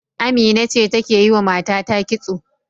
Amina ce take yiwa matata kitso.